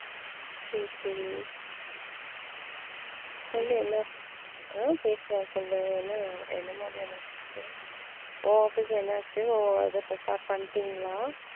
சரி சரி சொல்லு என்ன அஹ் பேசலாம் சொல்லு என்ன என்ன மாதிரியான job உ உன் office என்னாச்சு உன் இத start பண்ணிட்டிங்களா?